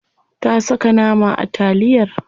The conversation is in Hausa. Ta saka nama a taliyar.